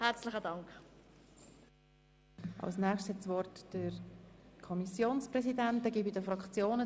Nun erteile ich dem Kommissionspräsidenten das Wort.